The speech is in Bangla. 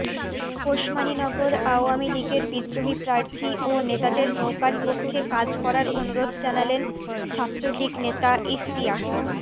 ওসমানীনগর আওয়ামীলীগের বিদ্রোহী প্রার্থী ও নেতাদের নৌকার পক্ষে কাজ করার অনুরোধ জানালেন ছাত্রলীগ নেতা ইশতিয়াক